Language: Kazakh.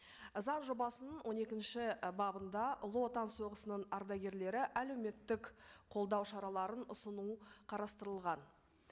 заң жобасының он екінші і бабында ұлы отан соғысының ардагерлері әлеуметтік қолдау шараларын ұсынуы қарастырылған